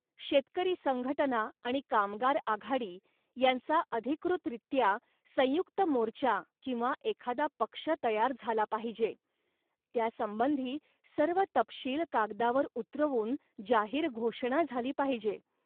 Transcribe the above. "शेतकरी संघटना आणि कामगार आघाडी यांचा अधिकृतरीत्या संयुक्त मोर्चा किंवा एखादा पक्ष तयार झाला पाहिजे. त्यासंबंधी सर्व तपशील कागदावर उतरवून जाहीर घोषणा झाली पाहिजे